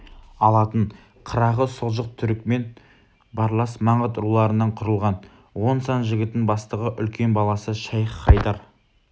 алатын қырағы сұлжық түрікмен барлас маңғыт руларынан құрылған он сан жігітін бастығы үлкен баласы шайх-хайдар